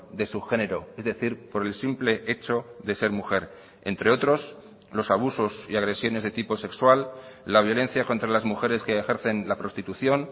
de su género es decir por el simple hecho de ser mujer entre otros los abusos y agresiones de tipo sexual la violencia contra las mujeres que ejercen la prostitución